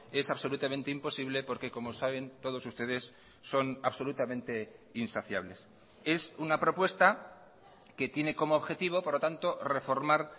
es absolutamente imposible porque como saben todos ustedes son absolutamente insaciables es una propuesta que tiene como objetivo por lo tanto reformar